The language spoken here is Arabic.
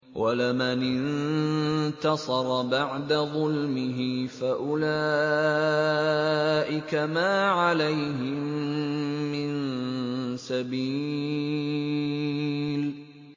وَلَمَنِ انتَصَرَ بَعْدَ ظُلْمِهِ فَأُولَٰئِكَ مَا عَلَيْهِم مِّن سَبِيلٍ